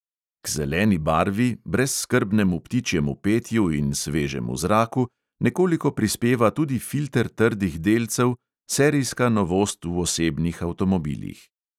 K zeleni barvi, brezskrbnemu ptičjemu petju in svežemu zraku nekoliko prispeva tudi filter trdih delcev, serijska novost v osebnih avtomobilih.